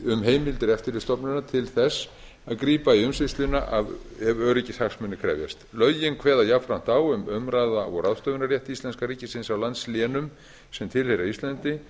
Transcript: um heimildir eftirlitsstofnunar til þess að grípa í umsýsluna ef öryggishagsmunir krefjast lögin kveða jafnframt á um umráða og ráðstöfunarrétt íslenska ríkisins á landslénum sem tilheyra íslandi